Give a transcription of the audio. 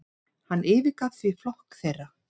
Hann yfirgaf því flokk þeirra.